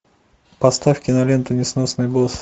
поставь киноленту несносный босс